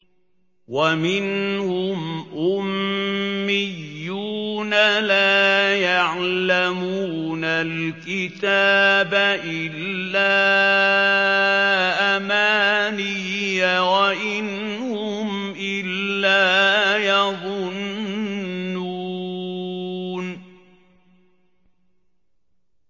وَمِنْهُمْ أُمِّيُّونَ لَا يَعْلَمُونَ الْكِتَابَ إِلَّا أَمَانِيَّ وَإِنْ هُمْ إِلَّا يَظُنُّونَ